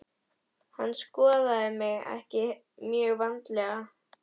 Hann skoðaði mig ekki mjög vandlega.